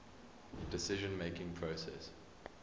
decision making process